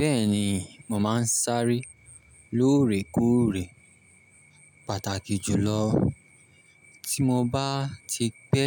Bẹ́ẹ̀ni, mo máa ń sáré lóòrèkóòrè pàtàkì jùlọ tí mo bá ti pẹ́